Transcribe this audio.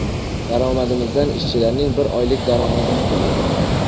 Daromadimizdan ishchilarning bir oylik daromadini to‘ladim.